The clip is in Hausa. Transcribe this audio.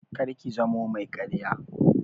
Kar ki zamo mai ƙarya!